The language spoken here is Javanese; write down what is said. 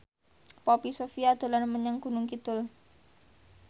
Poppy Sovia dolan menyang Gunung Kidul